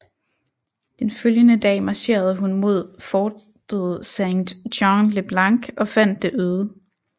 Den følgende dag marcherede hun mod fortet Saint Jean le Blanc og fandt det øde